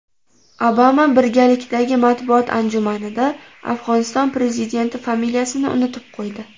Obama birgalikdagi matbuot anjumanida Afg‘oniston prezidenti familiyasini unutib qo‘ydi.